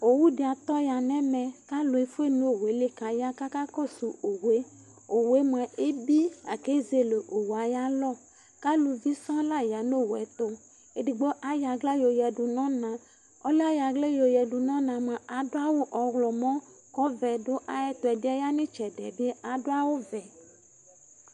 Owu ɖi atɔ ya nu ɛmɛ Ku ãlu efue nu owu yɛ li, ku aya aka kɔsu owu yɛ Owu yɛ mua, ebi Laku ezele owu yɛ ayu alɔ Ku aluʋi sɔŋ la ya nu owu yɛ ayɛtu Eɖigbo ayɔ aɣla yɔ yaɖu nu ɔnà Ɔlù yɛ ayɔ aɣla yɔ yaɖu nu ɔnà mua, aɖu awu ɔwlɔmɔ, ku ɔʋɛ ɖu ayɛtu Ɛɖi yɛ ya nu ayu itsɛɖi yɛ bi aɖu awu ʋɛ